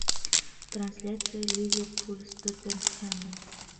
трансляция ливерпуль с тоттенхэмом